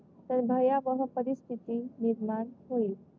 तर भयावह परिस्थिती निर्माण होईल.